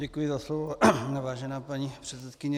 Děkuji za slovo, vážená paní předsedkyně.